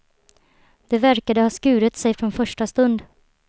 Det verkade ha skurit sig från första stund.